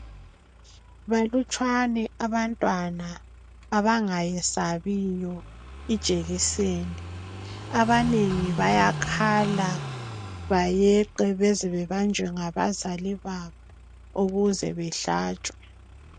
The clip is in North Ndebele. Balutshwane abantwana abangayesabiyo ijekiseni. Abanengi bayakhala bayeqe beze bebanjwe ngabazali babo ukuze behlatshwe.